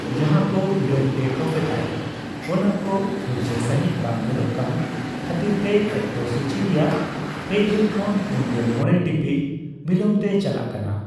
ᱡᱟᱦᱟᱸ ᱠᱚ ᱩᱰᱟᱹᱱ ᱴᱮᱠᱼᱚᱯᱷ ᱮᱫᱟᱭ, ᱚᱱᱟ ᱠᱚ ᱯᱷᱟᱨᱪᱟ ᱥᱟᱸᱦᱤᱪ ᱵᱟᱝ ᱧᱮᱞᱚᱜ ᱠᱟᱱ ᱠᱷᱟᱹᱛᱤᱨᱛᱮ ᱚᱠᱛᱚ ᱥᱩᱪᱤ ᱨᱮᱭᱟᱜ ᱯᱮᱜᱮᱞ ᱠᱷᱚᱱ ᱯᱩᱱᱜᱮᱞ ᱢᱚᱲᱮ ᱴᱤᱯᱤᱡ ᱵᱤᱞᱚᱢᱛᱮ ᱪᱟᱞᱟᱜ ᱠᱟᱱᱟ ᱾